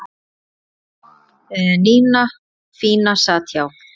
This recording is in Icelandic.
Nína fína sat hjá